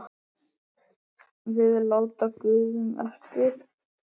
skulum við láta guðunum eftir.